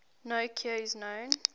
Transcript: no cure is known